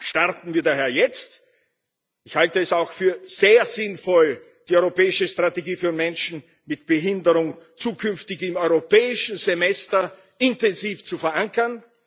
Starten wir daher jetzt! Ich halte es auch für sehr sinnvoll, die Europäische Strategie für Menschen mit Behinderungen zukünftig im Europäischen Semester intensiv zu verankern.